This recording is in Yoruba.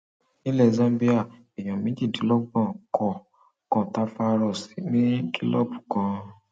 nílẹ zambia èèyàn méjìdínlọgbọn kọ kòńtáfàíróòsì ní kìlọọbù kan